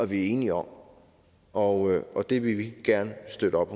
vi er enige om og og det vil vi gerne støtte op